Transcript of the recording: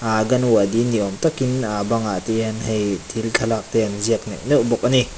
anganwadi ni awm takin ahh a bangah hian hei thil thlalak te an ziak neuh neuh bawk a ni.